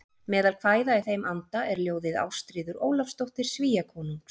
Meðal kvæða í þeim anda er ljóðið Ástríður Ólafsdóttir Svíakonungs